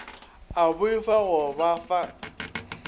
a boifa go ba fa